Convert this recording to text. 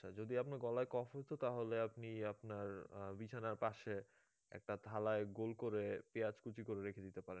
আচ্ছা যদি আপনার গলায় কফ হতো তাহলে আপনি আপনার বিছানার পাশে একটা থালায় গোল করে পেঁয়াজ কুচি করে রেখে দিতে পারেন